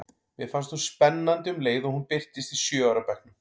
Mér fannst hún spennandi um leið og hún birtist í sjö ára bekknum.